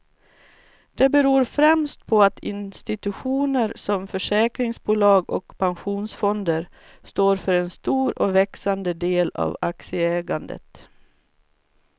Det beror främst på att institutioner som försäkringsbolag och pensionsfonder står för en stor och växande del av aktieägandet.